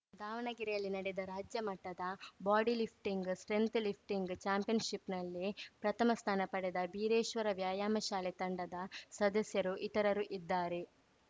ದಾವಣಗೆರೆಯಲ್ಲಿ ನಡೆದ ರಾಜ್ಯಮಟ್ಟದ ಬಾಡಿ ಲಿಫ್ಟಿಂಗ್‌ ಸ್ಟ್ರೆಂಥ್ ಲಿಫ್ಟಿಂಗ್‌ ಚಾಂಪಿಯನ್‌ಶಿಪ್‌ನಲ್ಲಿ ಪ್ರಥಮ ಸ್ಥಾನ ಪಡೆದ ಬೀರೇಶ್ವರ ವ್ಯಾಯಾಮ ಶಾಲೆ ತಂಡದ ಸದಸ್ಯರು ಇತರರು ಇದ್ದಾರೆ